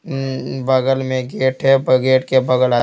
बगल में गेट है गेट के बगल--